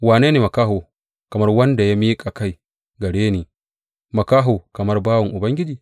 Wane ne makaho kamar wanda ya miƙa kai gare ni, makaho kamar bawan Ubangiji?